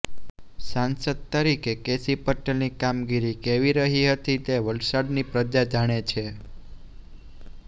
સાંસદ તરીકે કેસી પટેલની કામગીરી કેવી રહી હતી તે વલસાડની પ્રજા જાણે છે